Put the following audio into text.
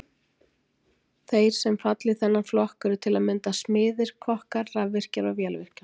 Þeir sem falla í þennan flokk eru til að mynda smiðir, kokkar, rafvirkjar og vélvirkjar.